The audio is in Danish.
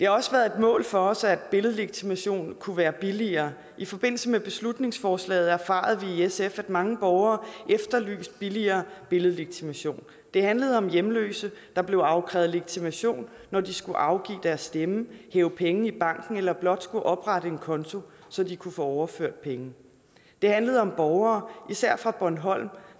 også været et mål for os at billedlegitimation kunne være billigere i forbindelse med beslutningsforslaget erfarede vi i sf at mange borgere efterlyste billigere billedlegitimation det handlede om hjemløse der blev afkrævet legitimation når de skulle afgive deres stemme hæve penge i banken eller blot skulle oprette en konto så de kunne få overført penge det handlede om borgere især fra bornholm